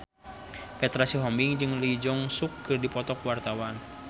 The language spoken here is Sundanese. Petra Sihombing jeung Lee Jeong Suk keur dipoto ku wartawan